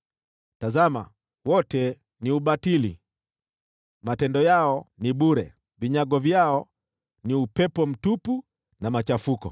Tazama, wote ni ubatili! Matendo yao ni bure; vinyago vyao ni upepo mtupu na machafuko.